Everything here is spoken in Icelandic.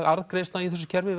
arðgreiðslna í þessu kerfi